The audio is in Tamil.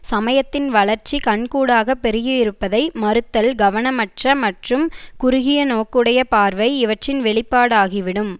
சமயத்தின் வளர்ச்சி கண்கூடாகப் பெருகி இருப்பதை மறுத்தல் கவனமற்ற மற்றும் குறுகியநோக்குடைய பார்வை இவற்றின் வெளிப்பாடாகிவிடும்